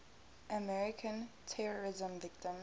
american terrorism victims